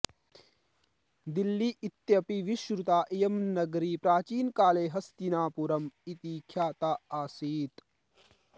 दिल्ली इत्यपि विश्रुता इयं नगरी प्राचीनकाले हस्तिनापुरम् इति ख्याता आसीत्